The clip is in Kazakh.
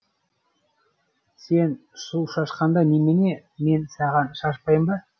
сен су шашқанда немене мен саған шашпаймын ба